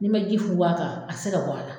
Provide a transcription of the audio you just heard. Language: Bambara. N'i ma ji funfun a kan a tɛ se ka bɔ a la